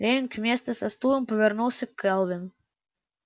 лэннинг вместо со стулом повернулся к кэлвин